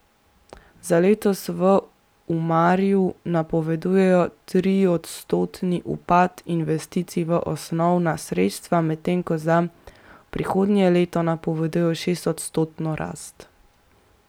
Za letos v Umarju napovedujejo triodstotni upad investicij v osnovna sredstva, medtem ko za prihodnje leto napovedujejo šestodstotno rast.